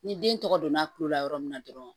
Ni den tɔgɔ donna kulo la yɔrɔ min na dɔrɔn